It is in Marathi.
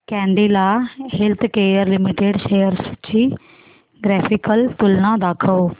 कॅडीला हेल्थकेयर लिमिटेड शेअर्स ची ग्राफिकल तुलना दाखव